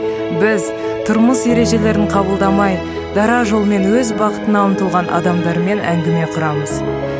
біз тұрмыс ережелерін қабылдамай дара жолмен өз бақытына ұмтылған адамдармен әңгіме құрамыз